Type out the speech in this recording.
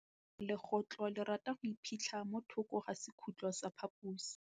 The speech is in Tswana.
Legôtlô le rata go iphitlha mo thokô ga sekhutlo sa phaposi.